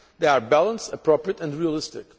They are balanced, appropriate and realistic.